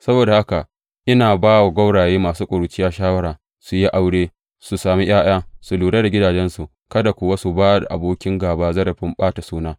Saboda haka ina ba wa gwauraye masu ƙuruciya shawara su yi aure, su sami ’ya’ya, su lura da gidajensu kada kuwa su ba abokin gāba zarafin ɓata suna.